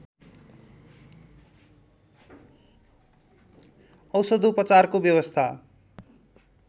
औषधोपचारको व्यवस्था